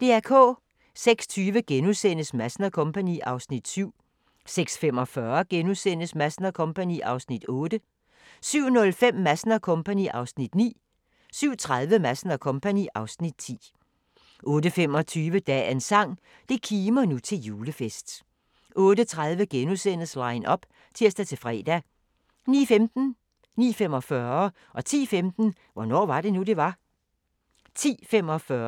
06:20: Madsen & Co. (Afs. 7)* 06:45: Madsen & Co. (Afs. 8)* 07:05: Madsen & Co. (Afs. 9) 07:30: Madsen & Co. (Afs. 10) 08:25: Dagens sang: Det kimer nu til julefest 08:30: Line up *(tir-fre) 09:15: Hvornår var det nu, det var? 09:45: Hvornår var det nu, det var? 10:15: Hvornår var det nu, det var? 10:45: aHA! *